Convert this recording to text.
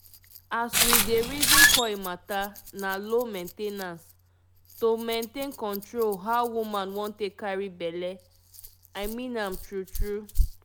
as we dey reason coil matter na low main ten ance -- to maintain control how woman wan take carry belle. i mean am true true.